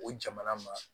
O jamana ma